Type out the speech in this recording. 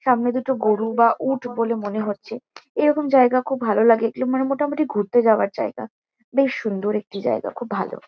সামনে দুটো গরু বা উট বলে মনে হচ্ছে। এরকম জায়গা খুব ভালো লাগে। এগুলো মানে মোটামুটি ঘুরতে যাওয়ার জায়গা। বেশ সুন্দর একটি জায়গা। খুব ভালো।